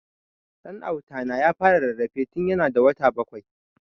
Dan Auta na ya fara rarrafe tun ya na da wata bakwai